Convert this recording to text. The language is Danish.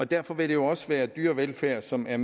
derfor vil det jo også være dyrevelfærd som er